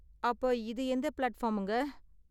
அப்ப இது எந்த பிளாட்ஃபார்ம்ங்க?